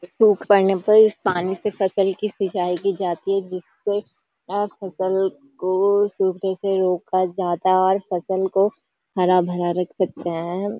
सूख पड़ने पर इस पानी से फसल की सिंचाई की जाती है जिससे आस फसल को सूखने से रोका जाता है और फसल को हरा भरा रख सकते हैं।